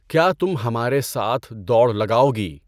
کیا تم ہمارے ساتھ دوڑ لگاؤگی؟